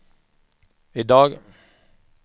idag